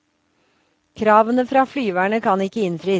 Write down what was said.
Kravene fra flyverne kan ikke innfris.